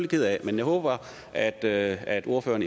ked af men jeg håber at at ordføreren